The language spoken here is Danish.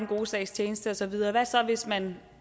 gode sags tjeneste og så videre hvad så hvis man